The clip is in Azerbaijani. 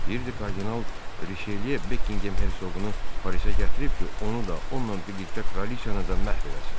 Deyirdi kardinal Riçeliye Bekkingem Hersoqunu polisə gətirib ki, onu da onunla birlikdə Kraliçanı da məhv eləsin.